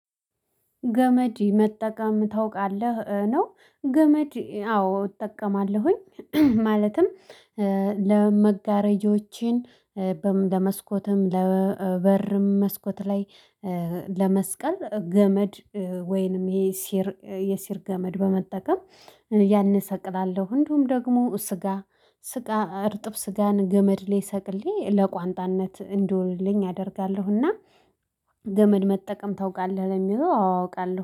ገመድ መጠቀም ታውቃለህ? ነው ገመድ አዎ እጠቀማለሁኝ። ማለትም ለመጋረጃዎቼን ለመስኮትም ለበርም መስኮት ላይ ለመስቀል ገመድ ወይንም ይሄ ሲር የሲር ገመድ በመጠቀም። ያን እሰቅላለሁ እንደውም ደግሞ ስጋ ስጋ እርጥብ ስጋን ገመድ ላይ ሰቅሌ ለቋንጣነት እንዲውልልኝ አደርጋለሁና። ገመድ መጠቀም ታውቃለህ? ለሚለው አዎ አውቃለሁ